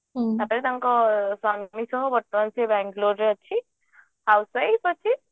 ହୁଁ ତାପରେ ତାଙ୍କ ସ୍ବାମୀଙ୍କ ସହ ବର୍ତମାନ ସିଏ ବାଂଲୋରେ ରେ ଅଛି housewife ଅଛି